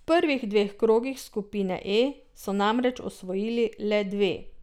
V prvih dveh krogih skupine E so namreč osvojili le dve.